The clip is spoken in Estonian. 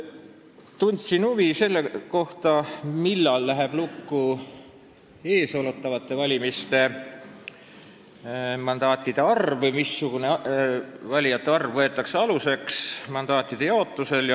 Tundsin huvi selle vastu, millal läheb lukku eesootavate valimiste mandaatide arv või missugune valijate arv võetakse aluseks mandaatide jaotusel.